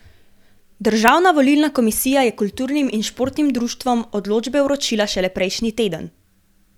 Državna volilna komisija je kulturnim in športnim društvom odločbe vročila šele prejšnji teden.